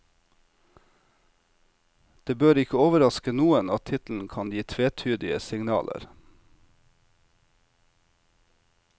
Det bør ikke overraske noen at tittelen kan gi tvetydige signaler.